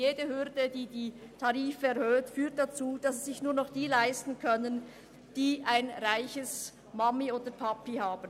Jede Tariferhöhung ist eine Hürde und führt dazu, dass sich nur noch diejenigen ein Studium leisten können, die reiche Eltern haben.